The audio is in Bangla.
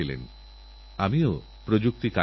এবারআমাদের জয় হোক এমনই প্রস্তুতি হোক